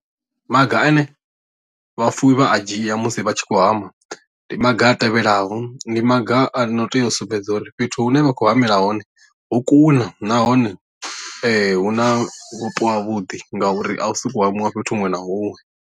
Maga ane vhafuwi vha a dzhia musi vha tshi khou hama ndi maga a tevhelaho ndi maga a no tea u sumbedza uri fhethu hune vha khou hamela hone ho kuna nahone hu na vhupo ha vhuḓi ngauri a u sokou hamiwa fhethu huṅwe na huṅwe.